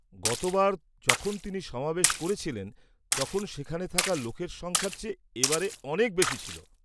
গতবার যখন তিনি সমাবেশ করেছিলেন তখন সেখানে থাকা লোকের সংখ্যার চেয়ে এবার অনেক বেশি ছিল।